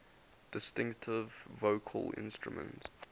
distinctive vocal instrument